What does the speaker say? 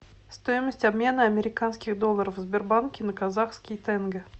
стоимость обмена американских долларов в сбербанке на казахские тенге